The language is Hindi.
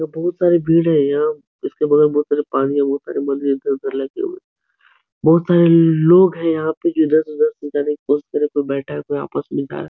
बहुत सारी भीड़ है। यहाँ इसके बगल में बहुत सारे पानी है। बहुत सारे इधर उधर लगे हुए। बहुत सारे लोग हैं यहाँ पे जो इधर से उधर जाने की कोशिश कर रहे हैं। कोई बैठा है कोई आपस में --